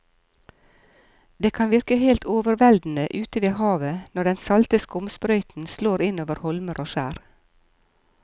Det kan virke helt overveldende ute ved havet når den salte skumsprøyten slår innover holmer og skjær.